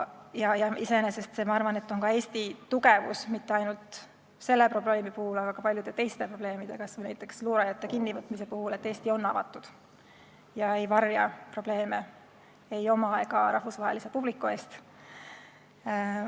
Iseenesest on see, ma arvan, ka Eesti tugevus ja mitte ainult selle probleemi puhul, vaid ka paljude teiste asjade, kas või näiteks luurajate kinnivõtmise puhul: Eesti on avatud, ta ei varja probleeme ei oma ega rahvusvahelise publiku eest.